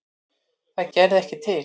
Það gerði ekki til.